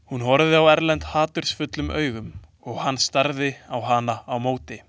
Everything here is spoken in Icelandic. Hún horfði á Erlend hatursfullum augum og hann starði á hana á móti.